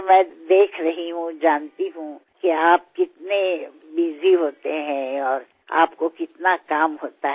কারণ আমি দেখতে পাচ্ছি এবং জানিও আপনি কতটা কর্মব্যস্ত এবং আপনার কী পরিমাণ কাজ থাকে